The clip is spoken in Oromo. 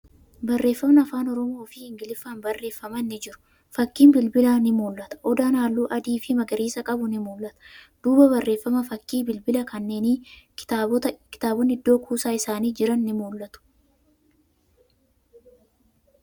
Barreeffamni afaan Oromoo fi Ingiliffaan barreeffaman ni jiru. Fakkiin bilbilaa ni mul'ata. Odaan haalluu adii fi magariisa qabu ni mul'ata. Duuba barreeffamaa fi fakkii bilbila kanneenii, kitaabotni iddoo kuusaa isaanii jiran ni mul'atu.